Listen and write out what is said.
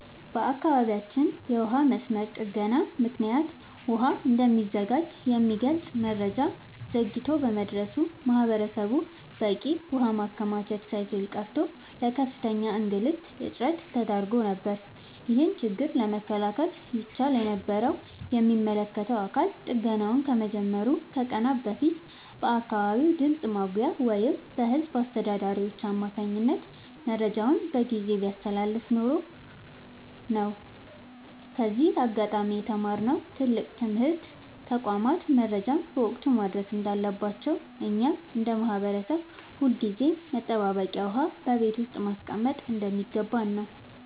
በአካባቢያችን የውሃ መስመር ጥገና ምክንያት ውሃ እንደሚዘጋ የሚገልጽ መረጃ ዘግይቶ በመድረሱ ማህበረሰቡ በቂ ውሃ ማከማቸት ሳይችል ቀርቶ ለከፍተኛ እንግልትና እጥረት ተዳርጎ ነበር። ይህንን ችግር መከላከል ይቻል የነበረው የሚመለከተው አካል ጥገናው ከመጀመሩ ከቀናት በፊት በአካባቢው ድምፅ ማጉያ ወይም በህዝብ አስተዳዳሪዎች አማካኝነት መረጃውን በጊዜ ቢያስተላልፍ ኖሮ ነው። ከዚህ አጋጣሚ የተማርነው ትልቅ ትምህርት ተቋማት መረጃን በወቅቱ ማድረስ እንዳለባቸውና እኛም እንደ ማህበረሰብ ሁልጊዜም መጠባበቂያ ውሃ በቤት ውስጥ ማስቀመጥ እንደሚገባን ነው።